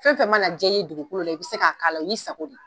Fɛn fɛn mana ja i ye dugukolo la i bɛ se k'a k'a la i sago ma.